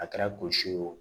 A kɛra kosi ye wo